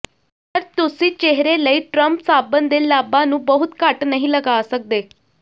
ਪਰ ਤੁਸੀਂ ਚਿਹਰੇ ਲਈ ਟਰਮ ਸਾਬਣ ਦੇ ਲਾਭਾਂ ਨੂੰ ਬਹੁਤ ਘੱਟ ਨਹੀਂ ਲਗਾ ਸਕਦੇ